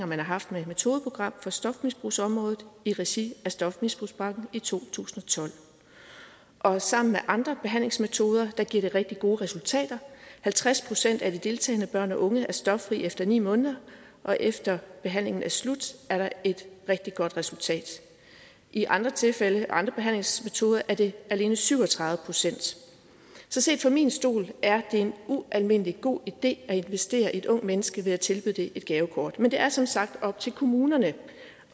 man har haft med et metodeprogram på stofmisbrugsområdet i regi af stofmisbrugspakken i to tusind og tolv og sammen med andre behandlingsmetoder giver det rigtig gode resultater halvtreds procent af de deltagende børn og unge er stoffrie efter ni måneder og efter behandlingen er slut er der et rigtig godt resultat i andre tilfælde og ved andre behandlingsmetoder er det alene syv og tredive procent så set fra min stol er det en ualmindelig god idé at investere i et ungt menneske ved at tilbyde det et gavekort men det er som sagt op til kommunerne